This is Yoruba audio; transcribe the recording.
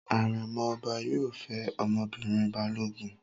Àrẹ̀mọ ọba yóò fẹ́ ọmọbìnrin Balógun.